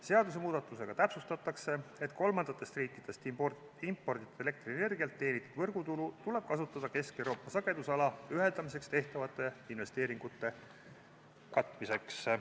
Seadusemuudatusega täpsustatakse, et kolmandatest riikidest imporditavalt elektrienergialt teenitud võrgutulu tuleb kasutada Kesk-Euroopa sagedusalaga ühendamiseks tehtavate investeeringute katmiseks.